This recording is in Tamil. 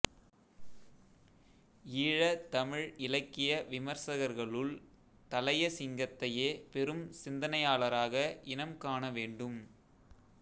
ஈழத் தமிழ் இலக்கிய விமர்சகர்களுள் தளையசிங்கத்தையே பெரும் சிந்தனையாளராக இனம் காணவேண்டும்